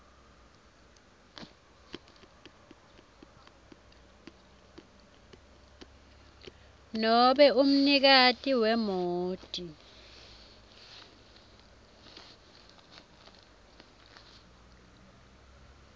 nobe umnikati wemoti